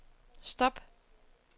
stop